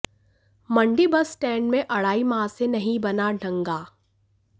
मंडी bus stand में अढ़ाई माह से नहीं बना डंगा